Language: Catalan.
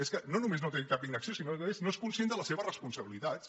és que no només no té cap inacció sinó que a més no és conscient de les se·ves responsabilitats